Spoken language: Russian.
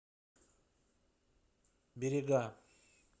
берега